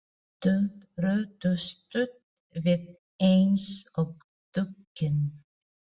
Stöldruðu stutt við eins og döggin.